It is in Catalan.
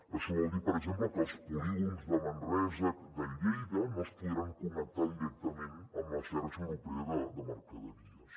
això vol dir per exemple que els polígons de manresa i de lleida no es podran connectar directament amb la xarxa europea de mercaderies